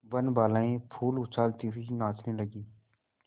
वनबालाएँ फूल उछालती हुई नाचने लगी